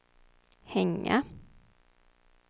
hänga